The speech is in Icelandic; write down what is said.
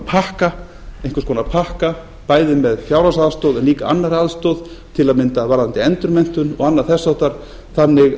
einhvers konar pakka bæði með fjárhagsaðstoð og líka annarri aðstoð til að mynda varðandi endurmenntun og annað þess háttar þannig